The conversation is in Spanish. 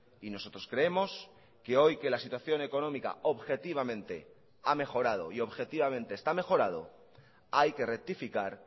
y nosotros creemos que hoy que la situación económica objetivamente ha mejorado y objetivamente está mejorado hay que rectificar